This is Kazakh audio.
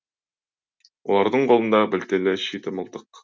олардың қолында білтелі шиті мылтық